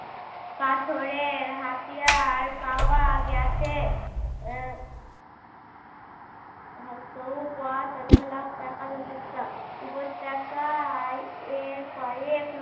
পাথরের হাতিয়ার পাওয়া গেছে। আহ হসৌ প তৈযফলা কা য় উপত্যকায় এ ক এক